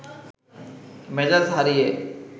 মেজাজ হারিয়ে